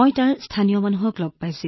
মই তাত মানুহক লগ পাইছিলো